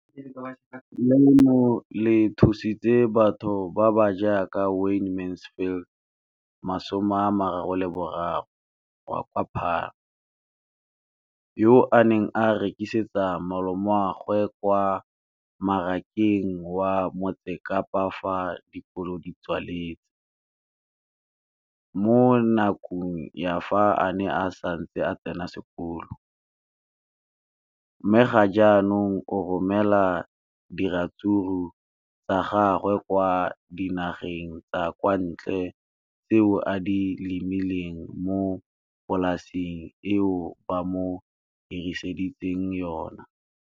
Leno le thusitse batho ba ba jaaka Wayne Mansfield, 33, wa kwa Paarl, yo a neng a rekisetsa malomagwe kwa Marakeng wa Motsekapa fa dikolo di tswaletse, mo nakong ya fa a ne a santse a tsena sekolo, mme ga jaanong o romela diratsuru tsa gagwe kwa dinageng tsa kwa ntle tseo a di lemileng mo polaseng eo ba mo hiriseditseng yona.